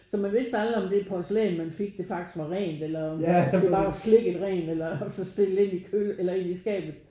Så man vidste aldrig om det porcelan man fik det faktisk var rent eller om det bare var slikket rent og så stillet ind i køle eller ind i skabet